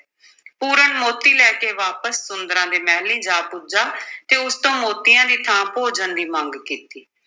ਪੂਰਨ ਮੋਤੀ ਲੈ ਕੇ ਵਾਪਸ ਸੁੰਦਰਾਂ ਦੇ ਮਹਿਲੀਂ ਜਾ ਪੁੱਜਾ ਤੇ ਉਸ ਤੋਂ ਮੋਤੀਆਂ ਦੀ ਥਾਂ ਭੋਜਨ ਦੀ ਮੰਗ ਕੀਤੀ।